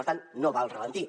per tant no va al ralentí